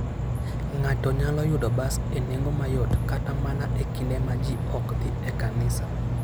Ng'ato nyalo yudo bas e nengo mayot kata mana e kinde ma ji ok dhi e kanisa.